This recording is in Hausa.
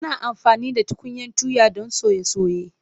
Ana amfani da tukunyan tuya don soye soye.